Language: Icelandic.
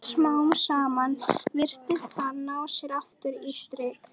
Smám saman virtist hann ná sér aftur á strik.